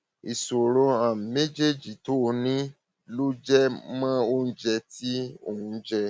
ìṣòro um méjèèjì tó o ní um ló jẹ mọ oúnjẹ tí um ò ń jẹ